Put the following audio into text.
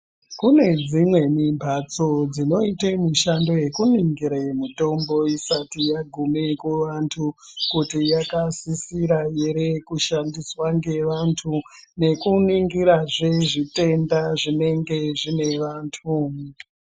Kunedzimweni mbatso, dzinoite mishando yekuningire mitombo isati yagume kuvantu kuti yakasisira ere kusandiswa ngevantu nekunigirazve zvitenda zvinenge zvinevantu.